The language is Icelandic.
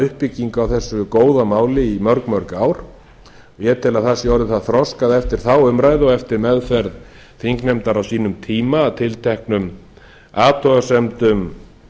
uppbyggingu á þessu góða máli í mörg mörg ár ég tel að það sé orðið það þroskað eftir þá umræðu og eftir meðferð þingnefndar á sínum tíma að tilteknum athugasemdum